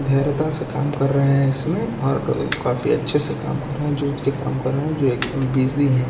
धैर्यता से काम कर रहे हैं इसमें और काफी अच्छे से काम कर रहे जो काम कर रहे जो एकदम बिजी है।